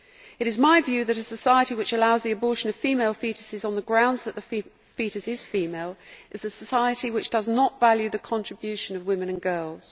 It is my view that a society which allows the abortion of female foetuses on the grounds that the foetus is female is a society which does not value the contribution of women and girls.